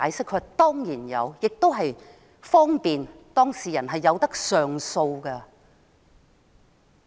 他表示當然會，以方便當事人上訴。